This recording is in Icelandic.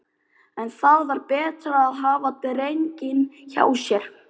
En það var betra að hafa drenginn hjá sér.